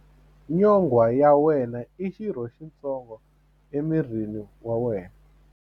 Nyonghwa ya wena i xirho xitsongo emirini wa wena.